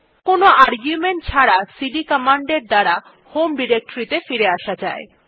কোনো আর্গুমেন্ট ছাড়া cd command এর দ্বারা হোম ডিরেক্টরী ত়ে ফিরে আসা যায়